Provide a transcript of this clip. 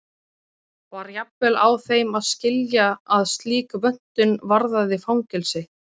Var jafnvel á þeim að skilja að slík vöntun varðaði fangelsi.